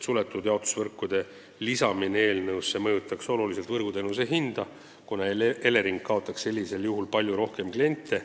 Suletud jaotusvõrkude lisamine eelnõusse mõjutaks oluliselt võrguteenuse hinda, kuna Elering kaotaks sellisel juhul palju rohkem kliente.